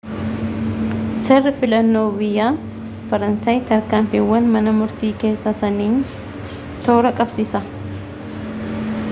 seerri filannoo biyya faransaay tarkaanfiiwwan mana murtii keessaa sanniiin toora qabsiisa